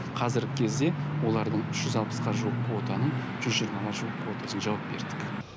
қазіргі кезде олардың үш жүз алпысқа жуық квотаның жүз жиырмаға жуық квотасын жауып бердік